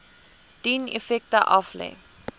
dien effekte aflê